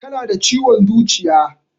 Tana da ciwon zuciya